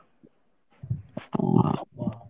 ও